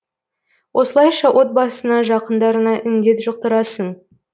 осылайша отбасыңа жақындарыңа індет жұқтырасың